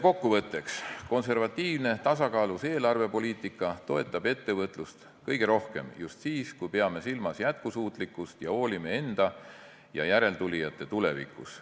Kokkuvõtteks: konservatiivne, tasakaalus eelarvepoliitika toetab ettevõtlust kõige rohkem just siis, kui peame silmas jätkusuutlikkust ja hoolime enda ja järeltulijate tulevikust.